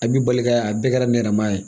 A b'i bali ka a bɛɛ kɛra nɛrɛma ye